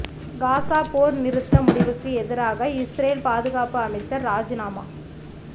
Gaza போர் நிறுத்த முடிவுக்கு எதிராக இஸ்ரேல் பாதுகாப்பு அமைச்சர் ராஜிநாமா